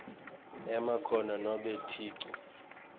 emakhono nobe ticu